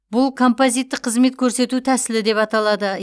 бұл композиттік қызмет көрсету тәсілі деп аталады